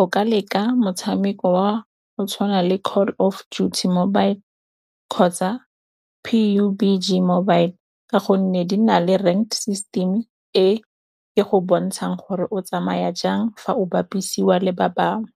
o ka leka motshameko wa go tshwana le Call of Duty mobile kgotsa P_U_B_G mobile ka gonne di na le rent system e e go bontshang gore o tsamaya jang fa o bapisiwa le ba bangwe.